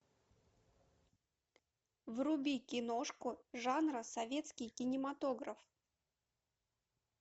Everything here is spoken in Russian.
вруби киношку жанра советский кинематограф